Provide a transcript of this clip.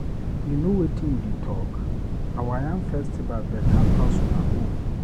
You no wetin you dey talk? Our yam festival beta pass una own.